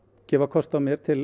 gefa kost á mér til